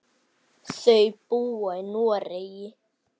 Þau búa í Noregi.